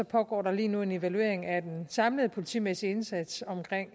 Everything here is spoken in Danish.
pågår der lige nu en evaluering af den samlede politimæssige indsats